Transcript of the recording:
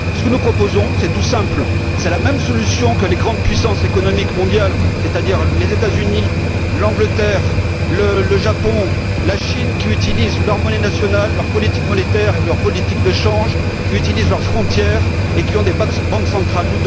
Ce que nous proposons, c'est tout simple, la même solution que les grandes puissances économiques mondiales, c'est à dire les États Unis, l'Angleterre, le Japon et la Chine, qui utilisent leur monnaie nationale, leur politique monétaire et leur politique de change, qui utilisent leurs frontières et qui ont des banques centrales.